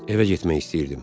Evə getmək istəyirdim.